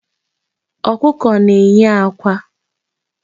Ọkụkọ na-eyi akwa.